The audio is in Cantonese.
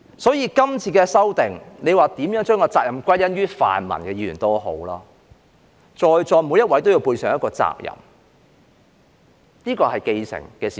所以，這次的修訂，無論大家如何把責任歸因於泛民議員也好，在座每位也要背上一個責任，這是既成的事實。